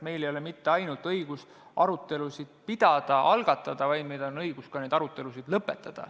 Meil ei ole mitte ainult õigus arutelusid pidada ja algatada, vaid meil on õigus ka neid arutelusid lõpetada.